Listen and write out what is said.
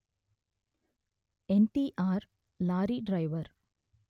NTR lorry driver